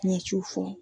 N ye ci fɔ